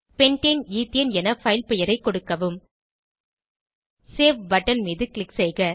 pentane ethane என file பெயரைக் கொடுக்கவும் சேவ் பட்டன் மீது க்ளிக் செய்க